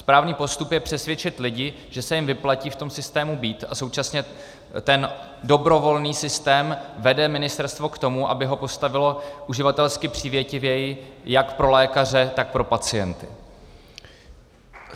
Správný postup je přesvědčit lidi, že se jim vyplatí v tom systému být, a současně ten dobrovolný systém vede ministerstvo k tomu, aby ho postavilo uživatelsky přívětivěji jak pro lékaře, tak pro pacienty.